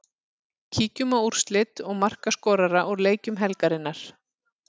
Kíkjum á úrslit og markaskorara úr leikjum helgarinnar.